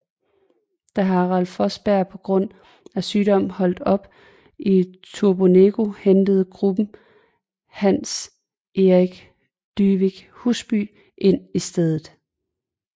Da Harald Fossberg på grund af sygdom holdt op i Turbonegro hentede gruppen Hans Erik Dyvik Husby ind i stedet